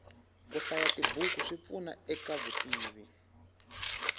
kuhlaya tibhuku swipfuna ekavutivi